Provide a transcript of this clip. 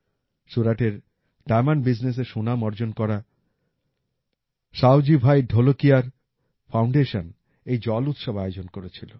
সুরাটের এর ডায়ামন্ড Buisnessএ সুনাম অর্জন করা সাওজি ভাই ঢোলকিয়ার ফাউন্ডেশন এই জল উৎসব আয়োজন করেছিল